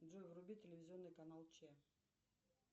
джой вруби телевизионный канал че